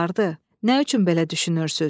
Nə üçün belə düşünürsüz?